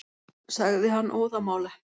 sagði hann óðamála.